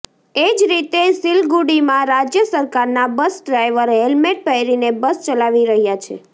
એ જ રીતે સિલગુડીમાં રાજ્ય સરકારનાં બસ ડ્રાઈવર હેલ્મેટ પહેરીને બસ ચલાવી રહ્યા છે